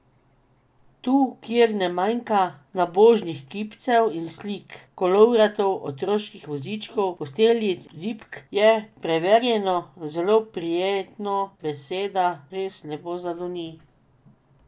Tu, kjer ne manjka nabožnih kipcev in slik, kolovratov, otroških vozičkov, posteljic in zibk je, preverjeno, zelo prijetno, beseda res lepo zadoni.